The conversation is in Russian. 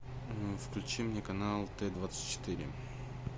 включи мне канал т двадцать четыре